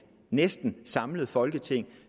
næsten samlet folketing